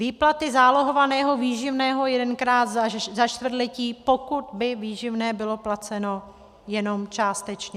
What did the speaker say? Výplaty zálohovaného výživného jedenkrát za čtvrtletí, pokud by výživné bylo placeno jenom částečně.